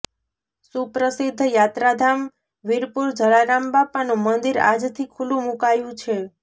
સુપ્રસિદ્ધ યાત્રાધામ વિરપુર જલારામ બાપાનું મંદિર આજથી ખુલ્લું મુકાયું છે